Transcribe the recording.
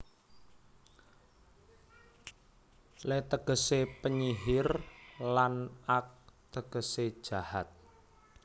Le tegesé penyihir lan ak tegesé jahat